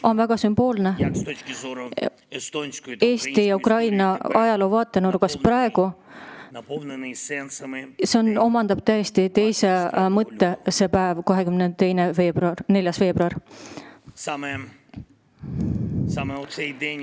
On väga sümboolne, millise tähenduse on nüüd saanud see päev, 24. veebruar, Eesti ja Ukraina ajaloo vaatenurgast.